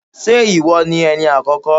Ṣé ìwọ ni Ẹni àkọ́kọ́?